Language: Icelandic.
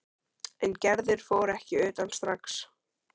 En Gerður fór ekki utan strax.